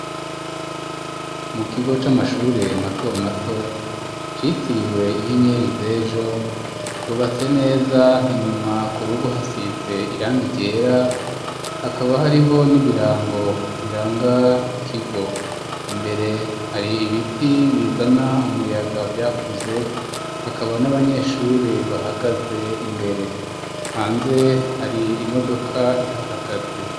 Mu kigo c'amashure mato mato citiriwe inyenyeri z'ejo cubatse neza inyuma ku rugo hasize irangi ryera hakaba hariho n'ibirango biranga ikigo imbere hari ibiti bizana umuyaga vyakuze hakaba n'abanyeshure bahagaze imbere, hanze hari imodoka ihahagaze.